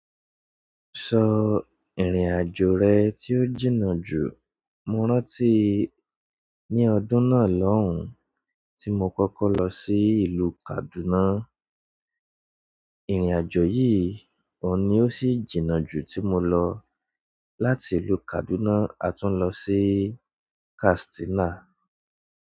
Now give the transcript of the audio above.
Sọ ìrìn-àjò rẹ tí ó jìnnà jù? Mo rántí ní ọdún náà lóhùn tí mo kọ́kọ́ lọ sí ìlú Kaduna. Ìrìn àjò yìí oun ni ó sì jìnnà jù ti mo lọ, láti ìlú kaduna a tún lọ sí ìlú kastina.